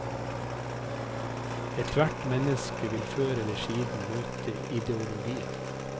Ethvert menneske vil før eller siden møte ideologien.